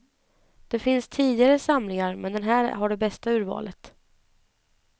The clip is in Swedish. Det finns tidigare samlingar, men den här har det bästa urvalet.